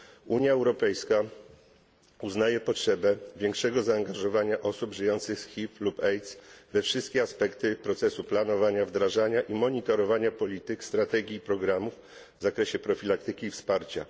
Unia Europejska uznaje potrzebę większego zaangażowania osób żyjących z HIV lub AIDS we wszystkie aspekty procesu planowania, wdrażania i monitorowania polityk, strategii i programów w zakresie profilaktyki i wsparcia.